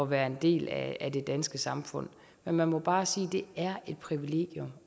være en del af det danske samfund men man må bare sige at det er et privilegium